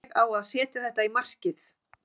Ég á að setja þetta í markið.